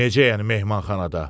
Necə yəni mehmanxanada?